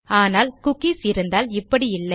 ஆனால் குக்கீஸ் இருந்தால் இப்படி இல்லை